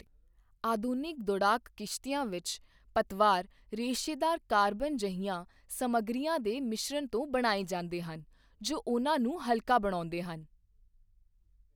ਆਧੁਨਿਕ ਦੌੜਾਕ ਕਿਸ਼ਤੀਆਂ ਵਿੱਚ, ਪਤਵਾਰ ਰੇਸ਼ੇਦਾਰ ਕਾਰਬਨ ਜਿਹੀਆਂ ਸਮੱਗਰੀਆਂ ਦੇ ਮਿਸ਼ਰਣ ਤੋਂ ਬਣਾਏ ਜਾਂਦੇ ਹਨ ਜੋ ਉਨ੍ਹਾਂ ਨੂੰ ਹਲਕਾ ਬਣਾਉਂਦੇ ਹਨ।